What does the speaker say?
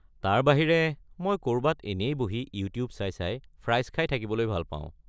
তাৰ বাহিৰে, মই ক’ৰবাত এনেই বহি ইউটিউব চাই চাই ফ্ৰাইছ খাই থাকিবলৈ ভাল পাওঁ।